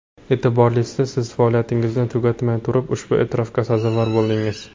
E’tiborlisi, siz faoliyatingizni tugatmay turib ushbu e’tirofga sazovor bo‘ldingiz.